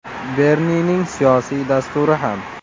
Bernining siyosiy dasturi ham.